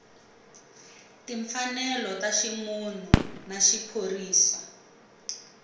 timfanelo ta ximunhu na vuphorisa